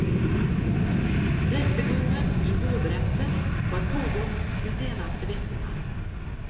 Rättegången i hovrätten har pågått de senaste veckorna.